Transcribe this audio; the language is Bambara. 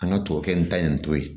An ka tuwawukɛ n ta in to ye